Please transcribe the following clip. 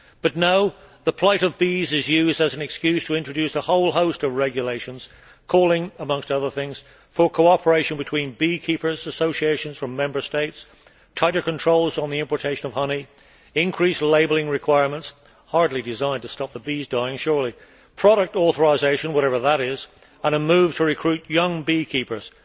But no, the plight of bees is used as an excuse to introduce a whole host of regulations calling, amongst other things, for cooperation between beekeepers' associations from Member States, tighter controls on the importation of honey, increased labelling requirements hardly designed to stop the bees dying, surely product authorisation, whatever that is, and a move to recruit young beekeepers.